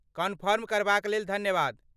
Confirm करबाक लेल धन्यवाद।